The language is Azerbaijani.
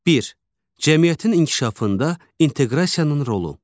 Bir, cəmiyyətin inkişafında inteqrasiyanın rolu.